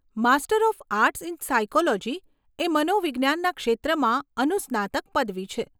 Master of arts in psychology એ મનોવિજ્ઞાનના ક્ષેત્રમાં અનુસ્નાતક પદવી છે.